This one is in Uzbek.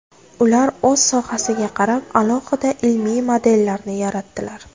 Ular o‘z sohasiga qarab alohida ilmiy modellarni yaratdilar.